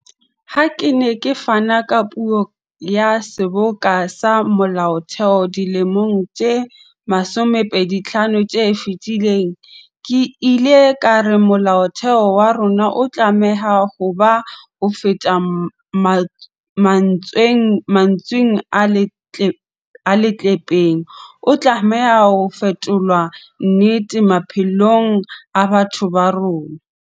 Ha ke ne ke fana ka puo ya Seboka sa Molaotheo dilemong tse 25 tse fetileng, ke ile ka re Molaotheo wa rona o tlameha ho ba hofeta mantsweng a leqhepeng, o tlameha ho fetolwa nnete maphelong a batho ba rona.